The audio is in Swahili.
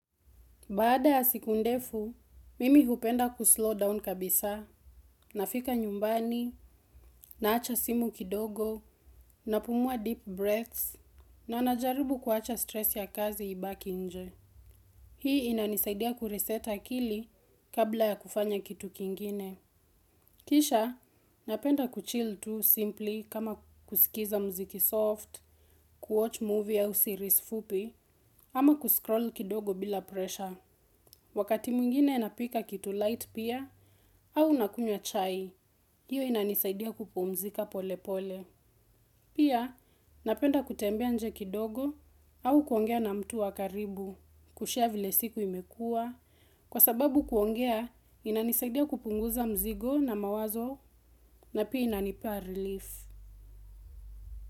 Baada ya siku ndefu, mimi hupenda kuslow down kabisa, nafika nyumbani, naacha simu kidogo, napumua deep breaths, na najarubu kuwacha stress ya kazi ibaki nje. Hii inanisaidia kureset akili kabla ya kufanya kitu kingine. Kisha, napenda kuchill tu simply kama kusikiza mziki soft, kuwatch movie au series fupi, ama kuscroll kidogo bila pressure. Wakati mwingine napika kitu light pia au nakunywa chai, hiyo inanisaidia kupumzika pole pole. Pia napenda kutembea nje kidogo au kuongea na mtu wa karibu kushare vile siku imekuwa. Kwa sababu kuongea inanisaidia kupunguza mzigo na mawazo na pia inanipea relief.